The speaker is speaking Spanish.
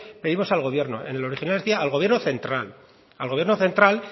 pedimos al gobierno en el original decía al gobierno central al gobierno central